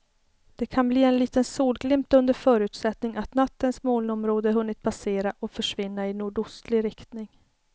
Det kan bli en liten solglimt under förutsättning att nattens molnområde hunnit passera och försvinna i nordostlig riktning.